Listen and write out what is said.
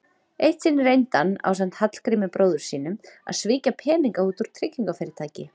Eitt sinn reyndi hann, ásamt Hallgrími bróður sínum, að svíkja peninga út úr tryggingafyrirtæki.